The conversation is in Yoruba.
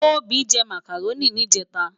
Tobi jè mákáróni nijètá